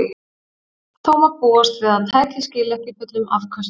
Þó má búast við að tækið skili ekki fullum afköstum.